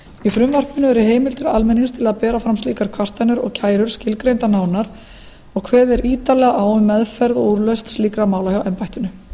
í frumvarpinu eru heimildir almennings til að ber fram slíkar kvartanir og kærur skilgreindar nánar og kveðið er ítarlega á um meðferð og úrlausn slíkra mála hjá embættinu